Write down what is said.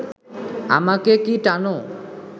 আমাকে কি টানো